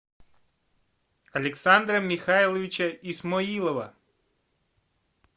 александра михайловича исмоилова